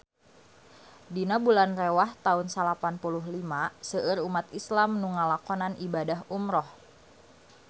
Dina bulan Rewah taun salapan puluh lima seueur umat islam nu ngalakonan ibadah umrah